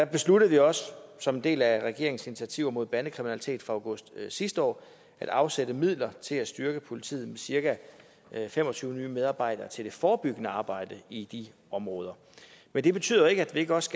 besluttede vi også som en del af regeringens initiativer mod bandekriminalitet fra august sidste år at afsætte midler til at styrke politiet med cirka fem og tyve nye medarbejdere til det forebyggende arbejde i de områder men det betyder jo ikke at vi ikke også